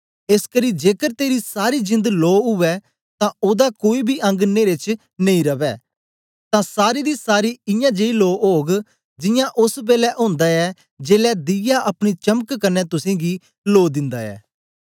एसकरी जेकर तेरी सारी जिंद लो उवै तां ओदा कोई बी अंग नेरे च नेई रवै तां सारी दी सारी इयां जेई लो ओग जियां ओस बेलै ओंदा ऐ जेलै दीया अपनी चमक कन्ने तुसेंगी लो दिन्दा ऐ